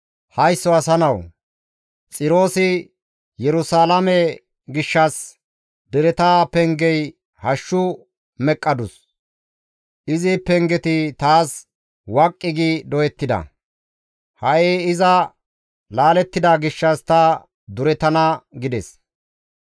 «Haysso asa nawu! Xiroosi Yerusalaame gishshas, ‹Dereta pengey hashshu meqqadus; izi pengeti taas waqqi gi doyettida; ha7i iza laalettida gishshas ta izo durettana› gides,